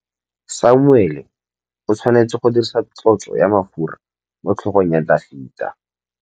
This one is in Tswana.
Samuele o tshwanetse go dirisa tlotsô ya mafura motlhôgong ya Dafita.